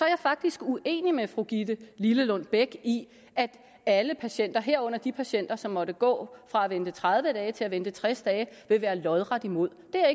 jeg faktisk uenig med fru gitte lillelund bech i at alle patienter herunder de patienter som måtte gå fra at vente tredive dage til at vente tres dage vil være lodret imod det er